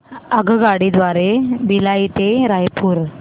आगगाडी द्वारे भिलाई ते रायपुर